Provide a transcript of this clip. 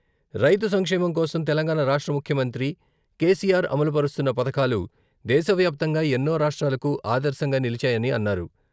రైతు సంక్షేమం కోసం తెలంగాణ రాష్ట్ర ముఖ్యమంత్రి కేసీఆర్ అమలుపరుస్తున్న పథకాలు దేశవ్యాప్తంగా ఎన్నో రాష్ట్రాలకు ఆదర్శంగా నిలిచాయని అన్నారు.